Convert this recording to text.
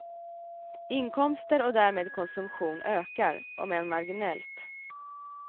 Inkomster och därmed konsumtion ökar, om än marginellt.